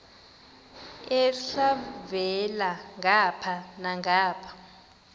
elhavela ngapha nangapha